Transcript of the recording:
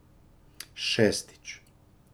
Šestič.